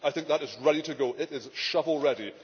I think that is ready to go it is shovel ready.